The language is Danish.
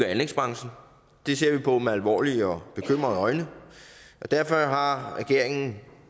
anlægsbranchen det ser vi på med alvorlige og bekymrede øjne og derfor har regeringen